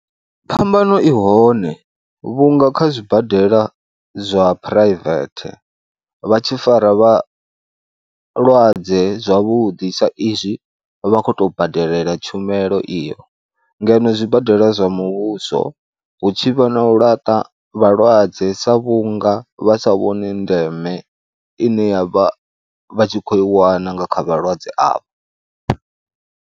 Phambano i hone vhunga kha zwibadela zwa phuraivethe vha tshi fara vha mulwadze zwavhuḓi saizwi vha khou tou badela tshumelo iyo ngeno zwibadela zwa muvhuso hu tshi vha na laṱa vhalwadze sa vhunga vha sa vhoni ndeme ine ya vha vha tshi khou i wana nga kha vhalwadze avho.